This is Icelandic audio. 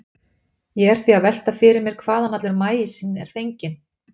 Ég er því að velta fyrir mér hvaðan allur maísinn er fenginn.